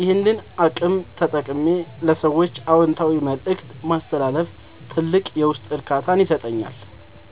ይህንን አቅም ተጠቅሜ ለሰዎች አዎንታዊ መልእክት ማስተላለፍ ትልቅ የውስጥ እርካታን ይሰጠኛል።